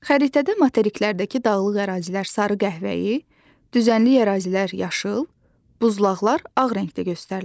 Xəritədə materiklərdəki dağlıq ərazilər sarı-qəhvəyi, düzənlik ərazilər yaşıl, buzlaqlar ağ rəngdə göstərilir.